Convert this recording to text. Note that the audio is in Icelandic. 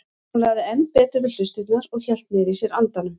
Hún lagði enn betur við hlustirnar og hélt niðri í sér andanum.